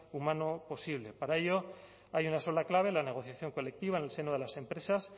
humano posible para ello hay una sola clave la negociación colectiva en el seno de las empresas